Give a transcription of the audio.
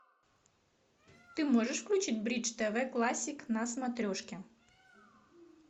ты можешь включить бридж тв классик на смотрешке